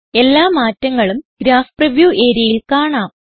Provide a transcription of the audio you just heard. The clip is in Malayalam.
എല്ലാ മാറ്റങ്ങളും ഗ്രാഫ് പ്രിവ്യൂ areaയിൽ കാണാം